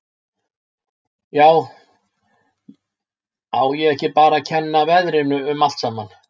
Já, á ég ekki bara að kenna veðrinu um allt saman.